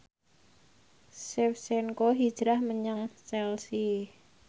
Shevchenko hijrah menyang Chelsea